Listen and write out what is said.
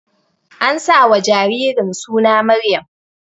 An sa wa jaririn suna Maryam